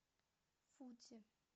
фудзи